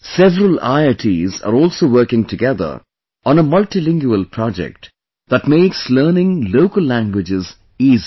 Several IITs are also working together on a multilingual project that makes learning local languages easier